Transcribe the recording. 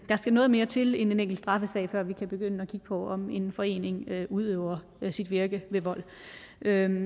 skal noget mere til end en enkelt straffesag før vi kan begynde at kigge på om en forening udøver sit virke ved vold